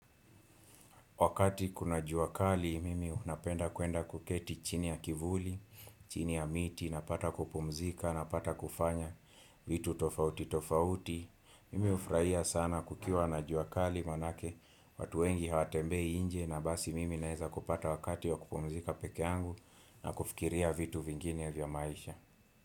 Wakati kuna juakali mimi unapenda kuenda kuketi chini ya kivuli, chini ya miti napata kupumzika napata kufanya vitu tofauti tofauti. Mimi ufurahia sana kukiwa na juakali manake watu wengi hawatembei inje na basi mimi naeza kupata wakati wa kupumzika peke yangu na kufikiria vitu vingine vya maisha.